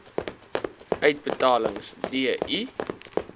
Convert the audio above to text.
uitbetalings d i